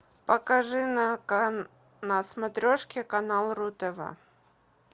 покажи на смотрешке канал ру тв